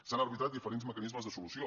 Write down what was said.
s’han arbitrat diferents mecanismes de solució